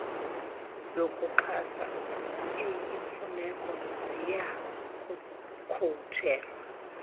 yokuxhasa eyimfuneko ziyakukhutshelwa